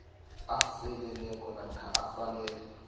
aseleleko namkha usalele